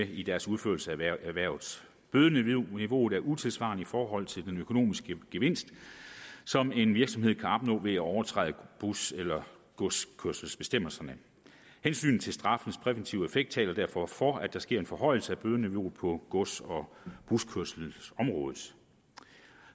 i deres udførelse af erhvervet bødeniveauet er utidssvarende i forhold til den økonomiske gevinst som en virksomhed kan opnå ved at overtræde bus eller godskørselsbestemmelserne hensynet til straffens præventive effekt taler derfor for at der sker en forhøjelse af bødeniveauet på gods og buskørselsområdet